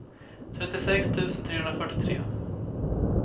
trettiosex tusen trehundrafyrtiotre